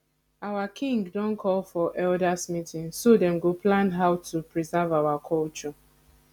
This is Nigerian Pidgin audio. our king don call for elders meeting so them go plan how to preserve our culture